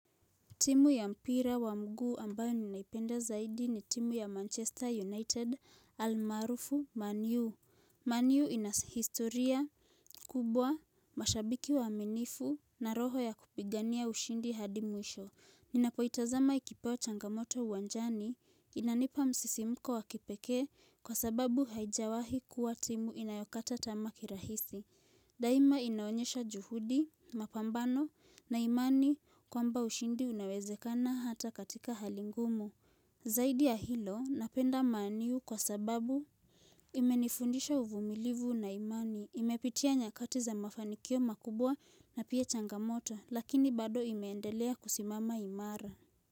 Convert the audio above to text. Timu ya mpira wa mguu ambayo ninaipenda zaidi ni timu ya Manchester United almaarufu man u. Man u inahistoria kubwa mashabiki waaminifu na roho ya kupigania ushindi hadi mwisho. Ninapoitazama ikipewa changamoto uwanjani inanipa msisimuko wa kipekee kwa sababu haijawahi kuwa timu inayokata tamaa kirahisi. Daima inaonyesha juhudi, mapambano na imani kwamba ushindi unawezekana hata katika hali ngumu. Zaidi ya hilo napenda man u kwa sababu imenifundisha uvumilivu na imani. Imepitia nyakati za mafanikio makubwa na pia changamoto lakini bado imeendelea kusimama imara.